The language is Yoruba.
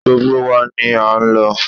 Gbogbo wa ni a lọ.